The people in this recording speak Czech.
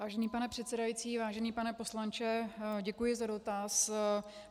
Vážený pane předsedající, vážený pane poslanče, děkuji za dotaz.